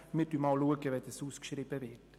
Wir werden es im Fall einer Ausschreibung prüfen.